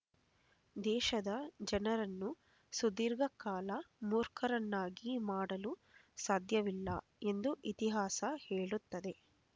ದೇಶದ ಜನರನ್ನು ಸುದೀರ್ಘ ಕಾಲ ಮೂರ್ಖರನ್ನಾಗಿ ಮಾಡಲು ಸಾಧ್ಯವಿಲ್ಲ ಎಂದು ಇತಿಹಾಸ ಹೇಳುತ್ತದೆ